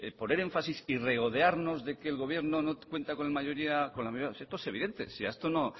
poner énfasis y regodearnos de que el gobierno no cuenta con la mayoría si esto es evidente si a esto